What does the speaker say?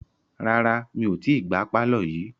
Rárá mi ò tí gbá pàlọ́ yìí